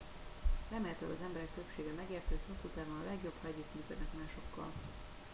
remélhetőleg az emberek többsége megérti hogy hosszú távon a legjobb ha együttműködnek másokkal